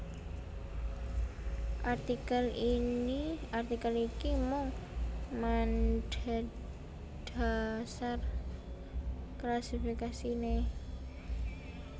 Artikel iki mung madhedhasar klasifikasiné